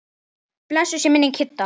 Blessuð sé minning Kidda.